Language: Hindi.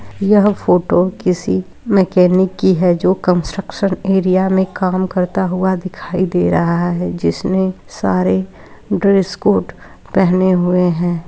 यह फ़ोटो किसी मैकेनिक की हैजो कन्स्ट्रक्शन एरिया में काम करता हुआ दिखाई दे रहा हैजिसने सारे ड्रेस कोर्ट पहने हुए हैं।